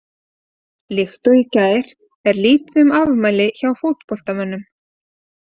Líkt og í gær er lítið um afmæli hjá fótboltamönnum.